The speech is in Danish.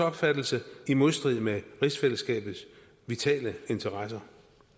opfattelse i modstrid med rigsfællesskabets vitale interesser